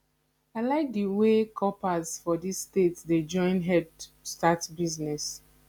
i like the wey corpers for this state dey join head start business